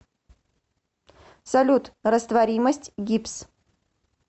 салют растворимость гипс